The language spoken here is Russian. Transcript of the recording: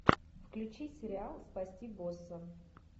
включи сериал спасти босса